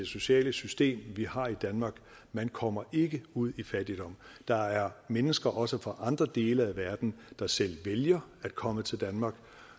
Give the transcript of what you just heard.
sociale system vi har i danmark man kommer ikke ud i fattigdom der er mennesker også fra andre dele af verden der selv vælger at komme til danmark og